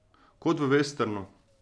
Kot v vesternu.